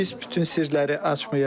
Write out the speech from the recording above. Biz bütün sirləri açmayaq.